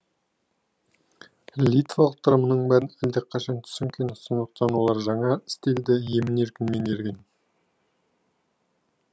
литвалықтар мұның бәрін әлдеқашан түсінген сондықтан олар жаңа стильді емін еркін меңгерген